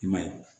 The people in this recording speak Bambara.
I ma ye